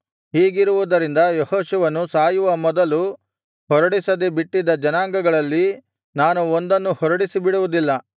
ಹೀಗಿರುವುದರಿಂದ ಯೆಹೋಶುವನು ಸಾಯುವ ಮೊದಲು ಹೊರಡಿಸದೆ ಬಿಟ್ಟಿದ ಜನಾಂಗಗಳಲ್ಲಿ ನಾನು ಒಂದನ್ನು ಹೊರಡಿಸಿಬಿಡುವುದಿಲ್ಲ